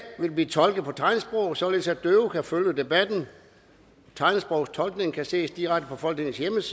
vil blive tolket på tegnsprog således at døve kan følge debatten tegnsprogstolkningen kan ses direkte på folketingets